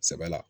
Sɛbɛ la